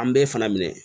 An bɛɛ fana minɛ